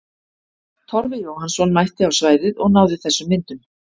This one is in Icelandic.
Torfi Jóhannsson mætti á svæðið og náði þessum myndum.